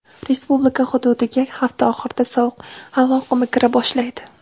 Respublika hududiga hafta oxirida sovuq havo oqimi kira boshlaydi.